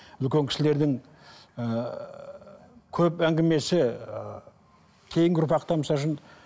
үлкен кісілердің ііі көп әңгімесі ы кейінгі ұрпақтан